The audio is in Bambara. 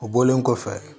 O bɔlen kɔfɛ